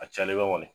A cayalenba kɔni